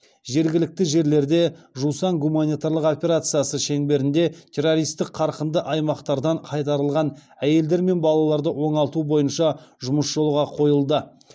жергілікті жерлерде жусан гуманитарлық операциясы шеңберінде террористік қарқынды аймақтардан қайтарылған әйелдер мен балаларды оңалту бойынша жұмыс жолға қойылды